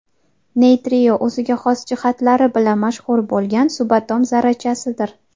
Neytrino o‘ziga xos jihatlari bilan mashhur bo‘lgan subatom zarrachasidir.